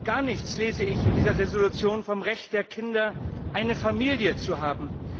Gar nichts lese ich in dieser Entschließung vom Recht der Kinder, eine Familie zu haben.